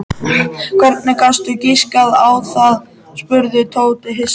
Hvernig gastu giskað á það? spurði Tóti hissa.